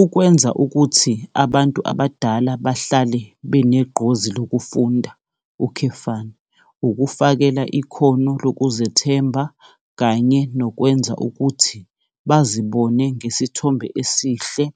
Ukwenza ukuthi abantu abadala bahlale benegqozi lokufunda, ukufakela ikhono lokuzethemba kanye nokwenza ukuthi bazibone ngesithombe esihle